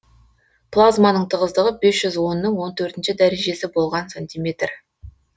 плазманың тығыздығы бес жүз онның он төртінші дәрежесі болған сантиметр